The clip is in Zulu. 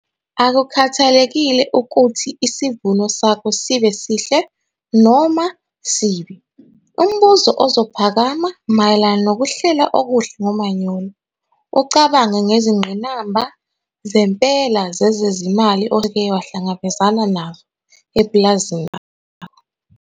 Akukhathalekile ukuthi isivuno sakho sibe sihle noma sibi, umbuzo ozophakama mayelana nokuhlela okuhle ngomanyolo ucabange ngezingqinamba zempela zezezimalo oseke wahlangabezana nazo epulazini lakho.